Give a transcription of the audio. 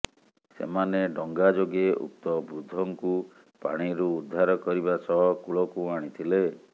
ସେମାନେ ଡଙ୍ଗା ଯୋଗେ ଉକ୍ତ ବୃଦ୍ଧଙ୍କୁ ପାଣିରୁ ଉଦ୍ଧାର କରିବା ସହ କୂଳକୁ ଆଣିଥିଲେ